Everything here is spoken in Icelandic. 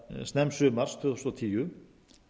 snemmsumars tvö þúsund og tíu